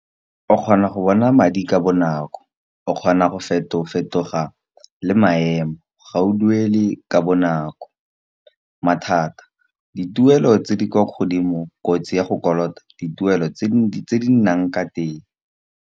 O kgona go bona madi ka bonako o kgona go feto-fetoga le maemo, ga o duele ka bonako. Mathata dituelo tse di kwa godimo kotsi ya go kolota dituelo tse di nang ka teng.